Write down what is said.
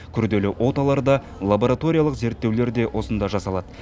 күрделі оталар да лабораториялық зерттеулер де осында жасалады